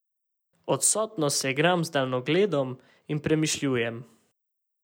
Odsotno se igram z daljnogledom in premišljujem.